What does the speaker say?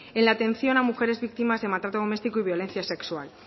en la atención a mujeres víctimas de maltrato doméstico y violencia sexual